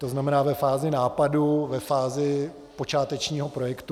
To znamená ve fázi nápadů, ve fázi počátečního projektu.